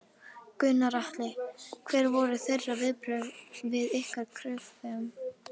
Gunnar Atli: Hver voru þeirra viðbrögð við ykkar kröfum?